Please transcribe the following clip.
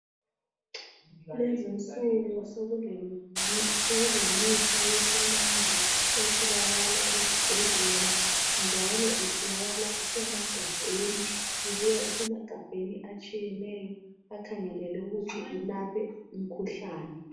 Kulezi insuku sokule mithi yesimanje etholakala ezibhedlela njalo itholakala isemagabheni ibuya isemagabheni atshiyeneyo akhangelelwe ukuthi alaphe imikhuhlane.